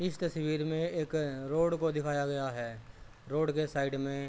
इस तस्वीर में एक रोड को दिखाई गया है। रोड के साइड में --